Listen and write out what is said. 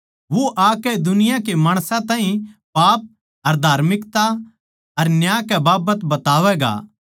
वो आकै दुनिया के माणसां ताहीं पाप अर धार्मिकता अर न्याय कै बाबत बतावैगा